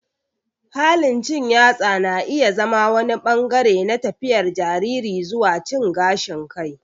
Halin cin yatsa na iya zama wani ɓangare na tafiyar jariri zuwa cin gashin kai.